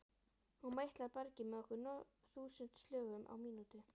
Hún meitlar bergið með nokkur þúsund slögum á mínútu.